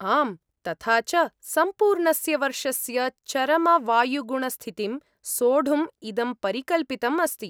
आम्, तथा च, सम्पूर्णस्य वर्षस्य चरमवायुगुणस्थितिं सोढुम् इदं परिकल्पितम् अस्ति।